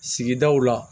Sigidaw la